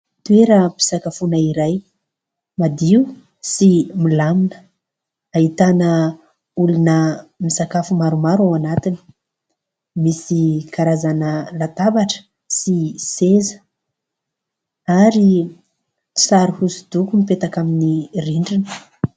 Toeram-pisakafoana iray madio sy milamina. Ahitana olona misakafo maromaro ao anatiny. Misy karazana latabatra sy seza ary sary hosodoko mipetaka amin'ny rindrina.